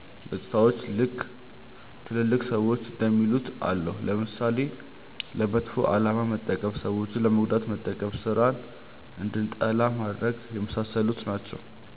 ገፅታዎችም ልክ ትልልቅ ሰዎች እንደሚሉት አለው። ለምሳሌ፦ ለመጥፎ አላማ መጠቀም፣ ሰዎችን ለመጉዳት መጠቀም፣ ስራን እንድንጠላ ማድረግ፣ የመሳሰሉት ናቸው።